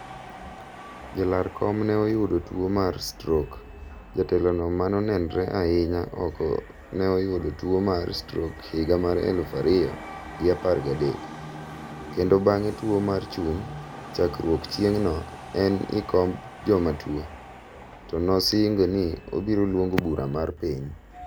ja lar kom ne oyudo tuwo mar stroke . jatelo no maonenre ahinya oko ne oyudo tuwo mar stroke higa mar eluf ariyo gi apar ga dek. kendo bang'e tuwo mar chuny. chakruok chieng' no en ikomb joma tuwo. to no singo ni obiro luongo bura mar piny.